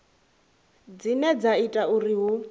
dzine dza ita uri hu